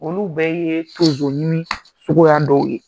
Olu bɛɛ ye so jɔ ni sugu ya dɔw ye.